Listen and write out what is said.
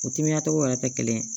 U timinantogo wɛrɛ tɛ kelen ye